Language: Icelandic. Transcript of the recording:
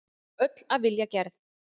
Öll af vilja gerð.